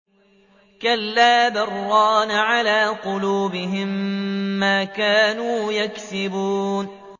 كَلَّا ۖ بَلْ ۜ رَانَ عَلَىٰ قُلُوبِهِم مَّا كَانُوا يَكْسِبُونَ